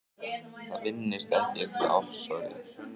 Það vinnist ekkert með offorsi.